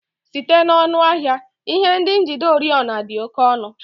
Site n'ọnụ ahịa, ihe ndị njide oriọna dị oke ọnụ